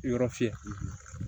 Yɔrɔ fiyɛ